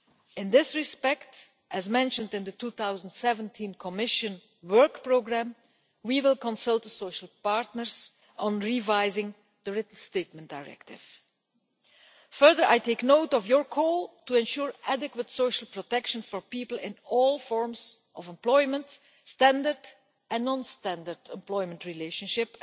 In this respect, as mentioned in the 2017 Commission Work Programme, we will consult the social partners on revising the Written Statement Directive. Further, I take note of your call to ensure adequate social protection for people in all forms of employment standard and non-standard employment relationships,